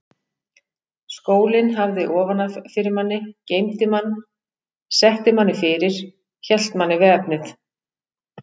Skólinn hafði ofan af fyrir manni, geymdi mann, setti manni fyrir, hélt manni við efnið.